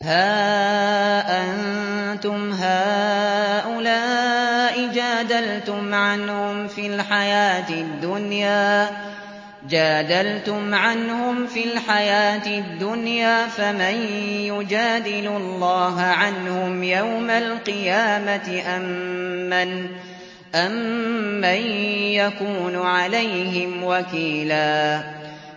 هَا أَنتُمْ هَٰؤُلَاءِ جَادَلْتُمْ عَنْهُمْ فِي الْحَيَاةِ الدُّنْيَا فَمَن يُجَادِلُ اللَّهَ عَنْهُمْ يَوْمَ الْقِيَامَةِ أَم مَّن يَكُونُ عَلَيْهِمْ وَكِيلًا